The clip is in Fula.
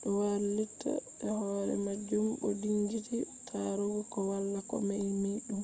do wailita be hore majum bo dingiti tarugo ko wala ko memi dum